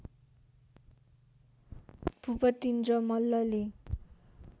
भूपतिन्द्र मल्लले